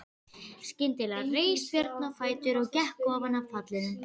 Skyndilega reis Björn á fætur og gekk ofan af pallinum.